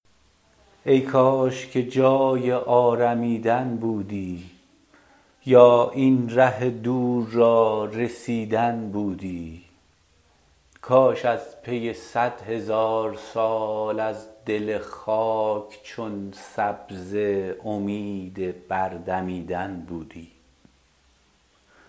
ای کاش که جای آرمیدن بودی یا این ره دور را رسیدن بودی کاش از پی صد هزار سال از دل خاک چون سبزه امید بردمیدن بودی